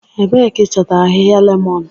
Ebee ka ị chọtara ahịhịa lemon?